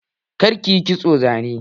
Kar kiyi kitson zane!